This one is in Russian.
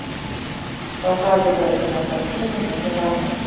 показывай кинокартину новый роман